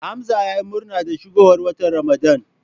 Hamza yayi murna da shigowar watan Ramadan.